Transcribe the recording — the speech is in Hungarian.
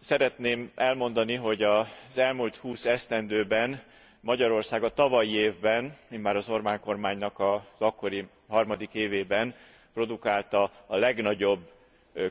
Szeretném elmondani, hogy az elmúlt 20 esztendőben Magyarország a tavalyi évben immár az Orbán kormánynak az akkori harmadik évében produkálta a legnagyobb